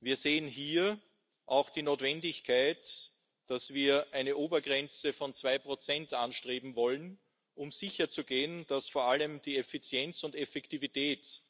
Wir sehen hier die Notwendigkeit, eine Obergrenze von zwei Prozent anzustreben, um sicherzugehen, dass vor allem die Effizienz und Effektivität